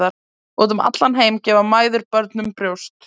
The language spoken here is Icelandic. Út um allan heim gefa mæður börnum brjóst.